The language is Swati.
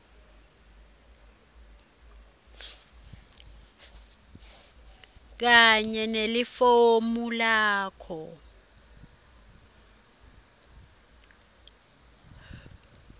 kanye nelifomu lakho